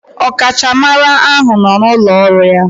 Ọkachamara ahụ nọ n'ụlọ ọrụ ya.